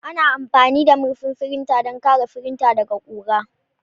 Ana amfani da murfin firinta don kare firinta daga ƙura.